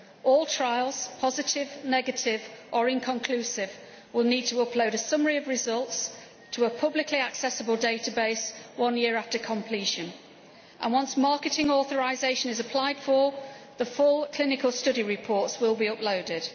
All trials positive, negative or inconclusive will need to upload a summary of results to a publicly accessible database one year after completion and, once marketing authorisation is applied for, the full clinical study reports will be uploaded.